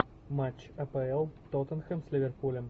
матч апл тоттенхэм с ливерпулем